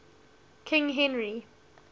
king henry